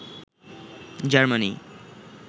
Germany